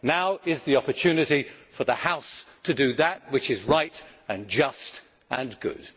Now is the opportunity for the House to do that which is right and just and good.